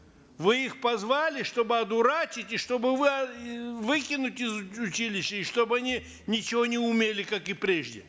вы их позвали чтобы одурачить и чтобы выкинуть из училища и чтобы они ничего не умели как и прежде